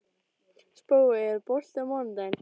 Spói, er bolti á mánudaginn?